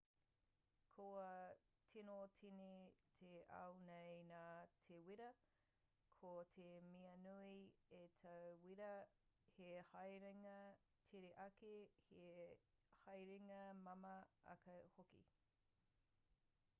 kua tīno tīni te ao nei nā te wīra ko te mea nui a te wīra he haerenga tere ake he haerenga māmā ake hoki